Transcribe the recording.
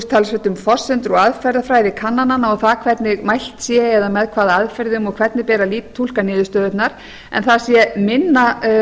talsvert um forsendur og aðferðafræði kannananna og það hvernig mælt sé eða með hvaða aðferðum og hvernig beri að túlka niðurstöðurnar en það sé minna